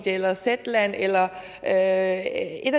eller zetland eller et af